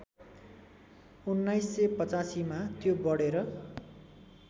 १९८५ मा त्यो बढेर